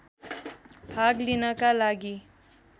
भाग लिनका लागि